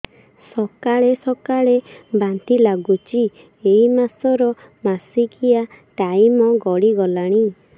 ସକାଳେ ସକାଳେ ବାନ୍ତି ଲାଗୁଚି ଏଇ ମାସ ର ମାସିକିଆ ଟାଇମ ଗଡ଼ି ଗଲାଣି